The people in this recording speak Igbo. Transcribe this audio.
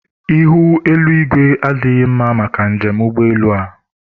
ihu eluigwe adịghị mma maka njem ụgbọelu a